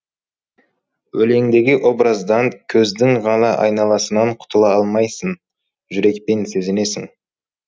өлеңдегі образдан көздің ғана айналасынан құтыла алмайсың жүрекпен сезінесің